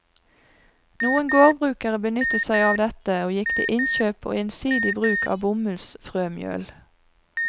Noen gårdbrukere benyttet seg av dette, og gikk til innkjøp og ensidig bruk av bomullsfrømjøl.